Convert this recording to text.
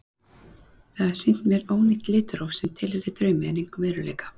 Það hafði sýnt mér ónýtt litróf sem tilheyrði draumi en engum veruleika.